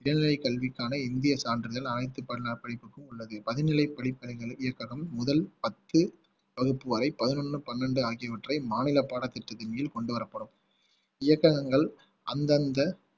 மேல்நிலை கல்விக்கான இந்திய சான்றிதழ் அனைத்து பதினாறு படிப்புக்கும் உள்ளது பணிநிலைப் படிப்பறிவு இயக்ககம் முதல் பத்து வகுப்பு வரை பதினொண்ணு பன்னெண்டு ஆகியவற்றை மாநில பாடத்திட்டத்தின் கீழ் கொண்டு வரப்படும் இயக்ககங்கள் அந்தந்த